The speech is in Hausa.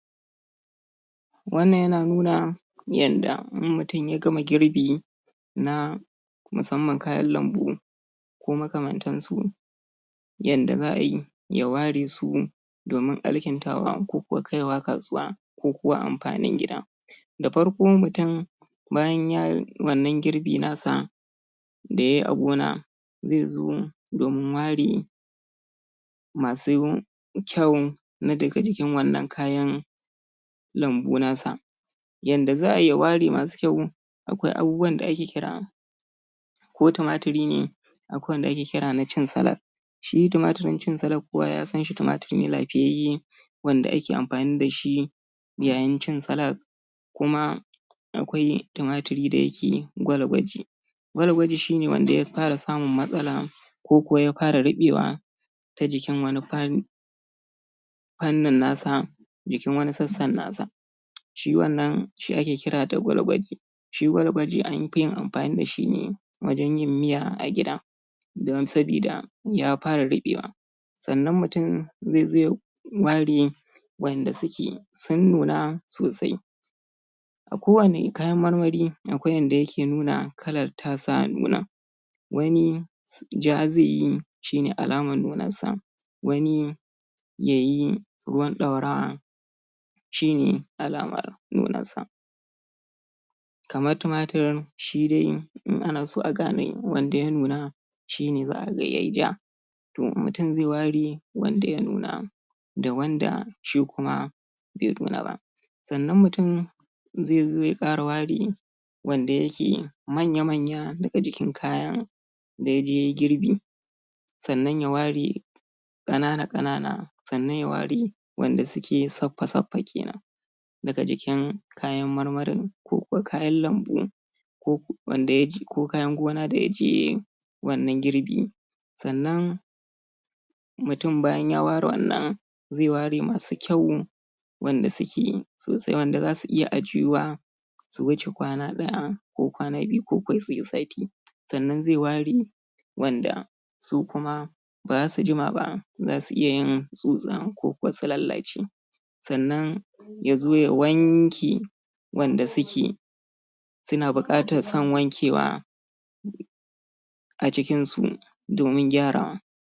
Wannan yana nuna yadda in mutum ya gama girbi na musamman kayan lambu ko makamantansu yanda za a yi ya ware su ya domin alkintawa ko kai wa kasuwa ko kuwa amfanin gida da farko mutum bayan ya yi wannan girbi nasa da ya yi a gona zai zo domin ware masu kyau na daga jikin wannan kayan lambu nasa yanda za a yi ya ware masu kyau akwai abubuwan da ake ƙira ko tumatiri ne akwai wanda ake ƙira na cin salak shi tumarin cin salak kowa ya san shi tumatiri ne lafiyayye wanda ake amfani da shi yayin cin salak kuma akwai tumari da yake gwalgwaje gwalgwaje shi ne wanda ya fara samun matsala ko ko ya fara riɓewa ta jikin fanni fannin nasa jikin wani sassan nasa shi wannan shi ake ƙira da gwalgwaje shi gwalgwaje an fi yin amfani da shi ne wajen yin miya a gida domin saboda ya fara riɓewa sannan mutum zai zo ya ware wanda suke sun nuna sosai a kowane kayan marmari akwai yanda yake nuna kalar tasa nunar wani ja zai yi shi ne alamar nunan sa wani ya yi ruwan daurawa shi ne alamar nunan sa kamar tumatir shi dai in ana so a gane wanda ya nuna shi ne za a ga ya yi ja to mutum zai ware wanda ya nuna da wanda shi kuma bai nuna ba sannan mutum zai ya ƙara ware wanda yake manya-manya a jikin kayan daidai ya yi garbi sannan ya ware ƙana-ƙana sannan ya ware wanda suke saffa-saffa kenan daga jikin kayan marmarin ko kuwa kayan lambun ko ko wanda ko kayan gona wanda ya je ya yi wannan girbi sannan mutum bayan ya ware wannan zai ware masu kyau wanda suke sosai wanda za su iya ajiyuwa su wuce kwana daya ko kwana biyu ko ko su yi sati sannan zai ware wanda su kuma ba za su jima ba za su iya yin tsutsa ko ko su lalace sannan ya zo ya wanke wanda suke suna buƙatar san wankewa a cikinsu